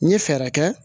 N ye fɛɛrɛ kɛ